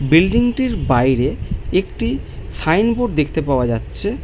Building -টির বাইরে একটি সাইন বোর্ড দেখতে পাওয়া যাচ্ছে ।